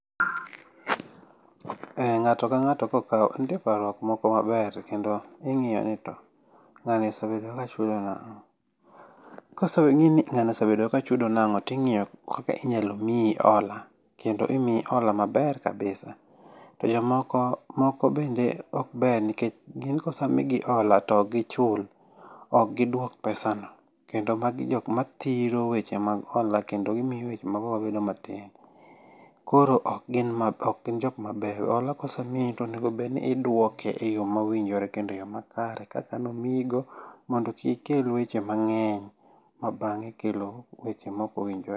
Eh ng'ato ka ng'ato kokau ntie parruok moko maber kendo ing'iyo ni to, ng'ani osebedo ka chulo nang'o. Koseb ng'ii ni ng'ani osebedo ka chudo nang'o ti ng'io kaka inyalo mii ola, kendo imii ola maber kabisa. To jomoko moko bende okber nkech gin kosemigi ola tokgichul, okgiduok pesa no. Kendo magi jok ma thiro weche mag hola, kendo gimio weche mag hola bedo matin, koro okgin mab okgin jok mabeyo. Hola kosemii to onego bed ni idwoke e yoo mowinjore kendo e yoo makare kaka nomiigo, mondo kik ikel weche mang'eny ma bang'e kelo weche mokowinjo.